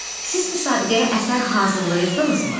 Siz müsabiqəyə əsər hazırlayırdınızmı?